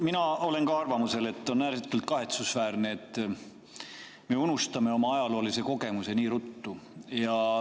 Mina olen ka arvamusel, et on ääretult kahetsusväärne, et me unustame oma ajaloolise kogemuse nii ruttu.